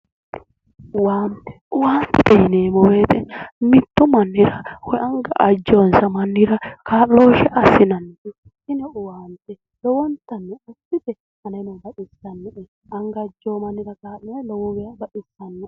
Owaante, owantete yineemmo woyiite mittu mannira woyi anga ajewoonsa mannira kaa'looshshe assinanni. tini owaante lowontanni ikkite aneno baxissannoe. anga ajjewo mannira kaa'la lowo geeshsha baxissanno.